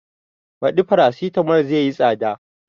Baɗi farasitamol zai yi tsada